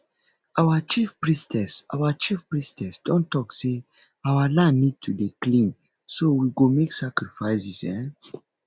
our chief priestess our chief priestess don talk say our land need to dey clean so we go make sacrifices um